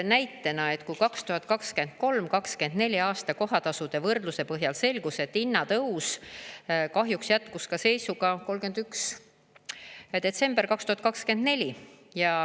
Näitena, 2023 ja 2024 aasta kohatasude võrdluse põhjal selgus, et hinnatõus kahjuks jätkus ka seisuga 31. detsember 2024.